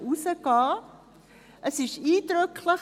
Es war eindrücklich.